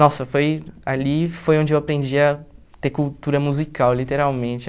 Nossa, foi ali foi onde eu aprendi a ter cultura musical, literalmente.